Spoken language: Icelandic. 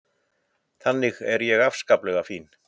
Þannig er ég afskaplega fín.